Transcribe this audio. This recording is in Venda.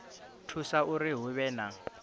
thusa uri hu vhe na